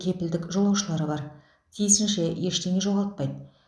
кепілдік жолаушылары бар тиісінше ештеңе жоғалтпайды